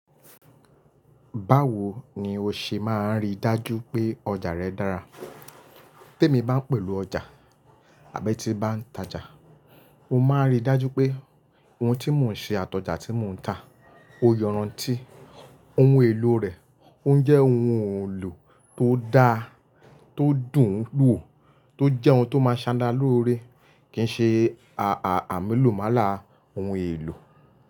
Báwo ni o ṣe máa rí dájú pé ọjà rẹ dára? Tí èmi bá ń pèlò ọjà àbí tí bá ń tajà, mo máa rí dájú pé ohun tí mò ń ṣe àtọjà tí mò ń tà ó yanranti, ohun èlò rẹ̀ ó ń jẹ́ ohun èlò tó da, tó dùn ún wò, tó jẹ́ ohun tó máa ṣara lórí, kì í ṣe ààà àmúlùmálà ohun èlò.